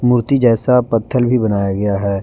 मूर्ति जैसा पत्थर भी बनाया गया है।